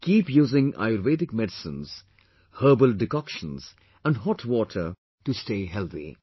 Keep using Ayurvedic medicines, herbal decoction and hot water to stay healthy